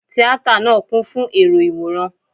Tíátà náà kún fún èrò Ìwòran.